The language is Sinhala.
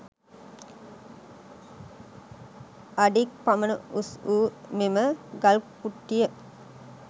අඩි ක් පමණ උස් වූ මෙම ගල් කුට්ටිය